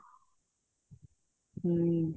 ਹਮ